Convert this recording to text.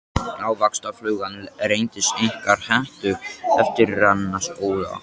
Ávaxtaflugan reyndist einkar hentug til erfðarannsókna.